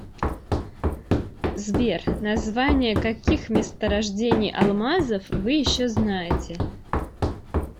сбер названия каких месторождений алмазов вы еще знаете